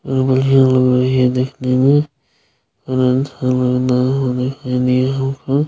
यह बढ़िया लगाई है देखने में